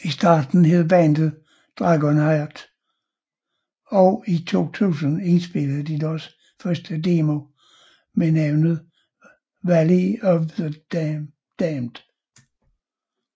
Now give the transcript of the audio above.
I starten hed bandet DragonHeart og i 2000 indspillede de deres første demo ved navn Valley Of The Damned